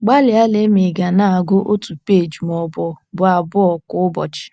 Gbalịa lee ma ị̀ ga na - agụ otu peeji ma ọ bụ bụ abụọ kwa ụbọchị.